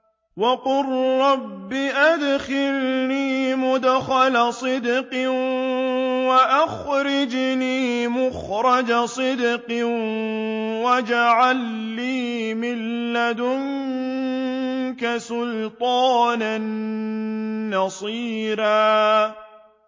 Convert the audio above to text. وَقُل رَّبِّ أَدْخِلْنِي مُدْخَلَ صِدْقٍ وَأَخْرِجْنِي مُخْرَجَ صِدْقٍ وَاجْعَل لِّي مِن لَّدُنكَ سُلْطَانًا نَّصِيرًا